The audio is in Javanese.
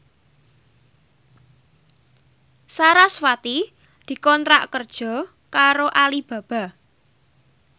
sarasvati dikontrak kerja karo Alibaba